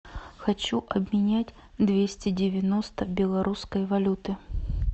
хочу обменять двести девяносто белорусской валюты